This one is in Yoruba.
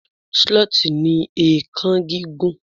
sloth ni eekan gigun